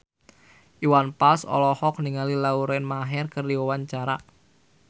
Iwan Fals olohok ningali Lauren Maher keur diwawancara